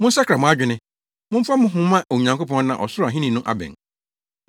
“Monsakra mo adwene; momfa mo ho mma Onyankopɔn na ɔsoro ahenni no abɛn”